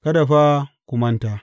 Kada fa ku manta!